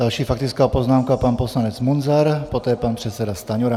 Další faktická poznámka, pan poslanec Munzar, poté pan předseda Stanjura.